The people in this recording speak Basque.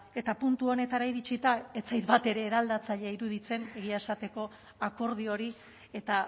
eta puntu honetara iritsita ez zait batere eraldatzailea iruditzen egia esateko akordio hori eta